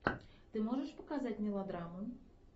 ты можешь показать мелодраму